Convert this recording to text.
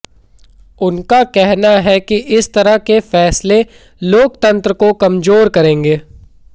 उनका कहना है कि इस तरह के फैसले लोकतंत्र को कमजोर करेंगे